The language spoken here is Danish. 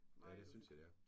Ja det synes jeg det er